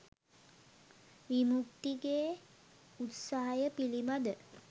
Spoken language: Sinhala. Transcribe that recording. විමුක්තිගේ උත්සහය පිළිබඳ